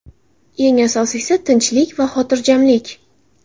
Eng asosiysi – tinchlik va xotirjamlik.